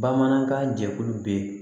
Bamanankan jɛkulu bɛ